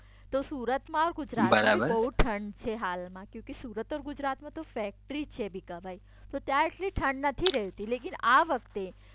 તો સુરતમાં ગુજરાતમાં બહુ ઠંડ છે. હાલમાં ક્યોંકિ સુરત ઓર ગુજરાતમાં તો ફેક્ટરી છે ભીખાભાઇ. તો ત્યાં એટલી ઠંડ નથી રેતી. લેકિન આ વખતે